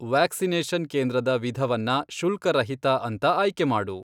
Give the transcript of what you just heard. Vaccination ಕೇಂದ್ರದ ವಿಧವನ್ನ ಶುಲ್ಕರಹಿತ ಅಂತ ಆಯ್ಕೆ ಮಾಡು.